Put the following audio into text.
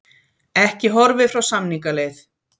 Ekki horfið frá samningaleið